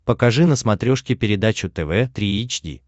покажи на смотрешке передачу тв три эйч ди